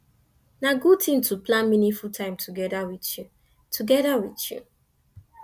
na good thing to plan meaningful time together with you together with you